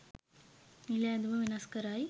නිල ඇඳුම වෙනස් කරයි